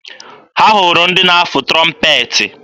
Ha hụrụ ndị na-afụ trọmpeetị.